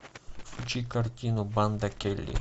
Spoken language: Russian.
включи картину банда келли